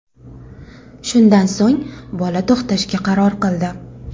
Shundan so‘ng, bola to‘xtashga qaror qildi.